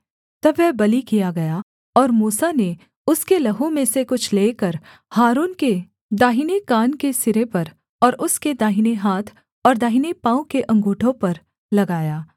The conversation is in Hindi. तब वह बलि किया गया और मूसा ने उसके लहू में से कुछ लेकर हारून के दाहिने कान के सिरे पर और उसके दाहिने हाथ और दाहिने पाँव के अँगूठों पर लगाया